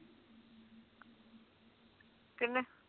ਕਿੰਨੇ